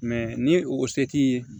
ni o se t'i ye